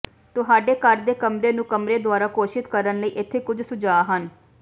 ਤੁਹਾਡੇ ਘਰ ਦੇ ਕਮਰੇ ਨੂੰ ਕਮਰੇ ਦੁਆਰਾ ਘੋਸ਼ਿਤ ਕਰਨ ਲਈ ਇੱਥੇ ਕੁਝ ਸੁਝਾਅ ਹਨ